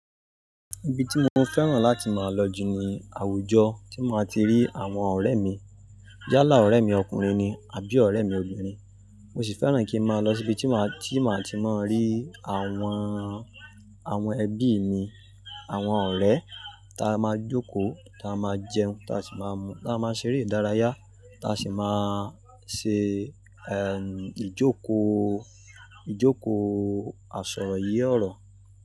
Ibi tí mo fẹ́ràn láti máa lọ jù ni àwùjọ tí máa ti rí àwọn ọ̀rẹ́ mi. Yálá ọ̀rẹ́ mi ọkùnrin ni àbí ọ̀rẹ́ mi obìnrin. Mo sì fẹ́ràn kí ma lọ síbi tí máa, tí màá ti máa rí àwọn, àwọn ẹbí mi, àwọn ọ̀rẹ́ táa máa jókòó, táa máa jẹun, táa sì máa mu, táa máa ṣeré ìdárayá, táa sì máa ṣe, eh, ìjókòó, ìjókòó àsọ̀rọ̀ ye ọ̀rọ̀